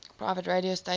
private radio stations